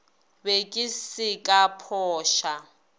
be ke se ka phoša